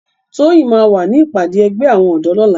Toyin má wá ni ipàdé ègbè áwòn òdò lòlá